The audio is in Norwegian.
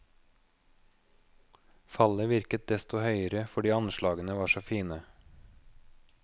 Fallet virket desto høyere fordi anslagene var så fine.